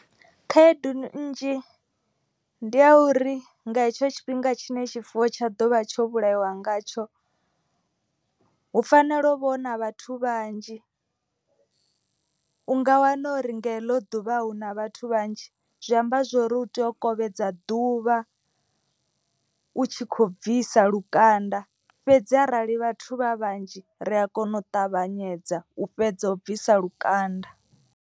Khaedu nnzhi ndi a uri nga hetsho tshifhinga tshine tshifuwo tsha ḓovha tsho vhulaiwa ngatsho. Hu fanela u vha na vhathu vhanzhi u nga wana uri nga heḽo ḓuvha ahu na vhathu vhanzhi. Zwi amba zwori u tea u kovhedzea ḓuvha u tshi kho bvisa lukanda. Fhedzi arali vhathu vha vhanzhi ri a kona u ṱavhanyedza u fhedza u bvisa lukanda.